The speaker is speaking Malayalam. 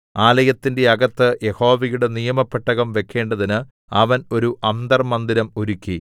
ആലയത്തിന്റെ അകത്ത് യഹോവയുടെ നിയമപെട്ടകം വെക്കേണ്ടതിന് അവൻ ഒരു അന്തർമ്മന്ദിരം ഒരുക്കി